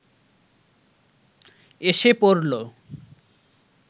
এসে পড়ল